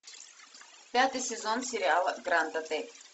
пятый сезон сериала гранд отель